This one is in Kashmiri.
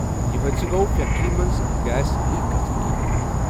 یہِ حٲدثہٕ گوٚو فیٚکٹرٛی منٛز گیس لیک گژھنہٕ کِنہِ ۔